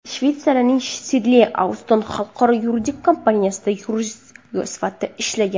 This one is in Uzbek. Shveysariyaning Sidley Austin xalqaro yuridik kompaniyasida yurist sifatida ishlagan.